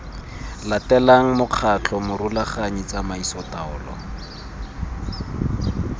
latelang mokgatlho morulaganyi tsamaiso taolo